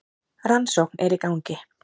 Rannsókn er í gangi.